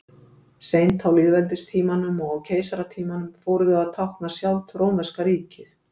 Seint á lýðveldistímanum og á keisaratímanum fóru þau að tákna sjálft rómverska ríkið.